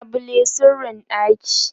labule sirrin ɗaki